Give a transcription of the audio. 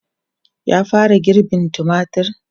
Ya fara girbin tumatir?